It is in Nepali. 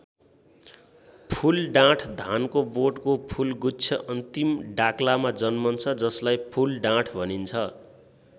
फूलडाँठ धानको बोटको फूलगुच्छ अन्तिम डाक्लामा जन्मन्छ जसलाई फूलडाँठ भनिन्छ।